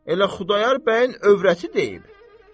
Elə Xudayar bəyin övrəti deyib.